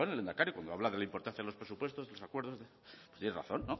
lehendakari cuando habla de la importancia de los presupuestos los acuerdos tiene razón